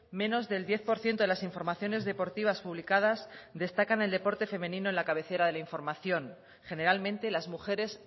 menos del diez por ciento de las informaciones deportivas publicadas destacan el deporte femenino en la cabecera de la información generalmente las mujeres